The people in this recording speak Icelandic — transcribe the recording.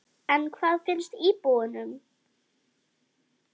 En hvað finnst íbúunum?